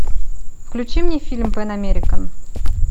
включи мне фильм пэн американ